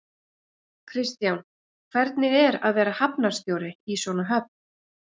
Kristján, hvernig er að vera hafnarstjóri í svona höfn?